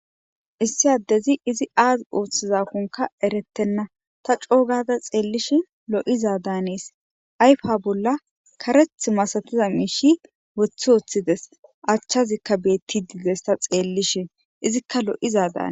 issi addezi izi aaz ooththizakonka erettenna ta coo gada xeellish lo7iza daanees ayfa bolla kareth masatiza miishi woththi ooththides achchazikka beetti diides ta xeellishe izikka lo7izadaana